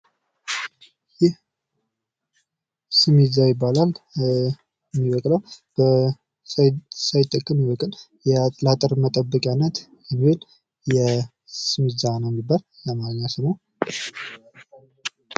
ይህ ስሚዛ ይባላል። የሚበቅለው ሳይተከል የሚበቅል ነው። ለአጤ ር መጠበቂያነት የሚውል ስማዛ ነው የሚባል።